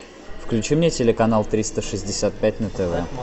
включи мне телеканал триста шестьдесят пять на тв